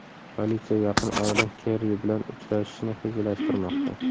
Politsiya yaqin orada Kerri bilan uchrashishni rejalashtirmoqda.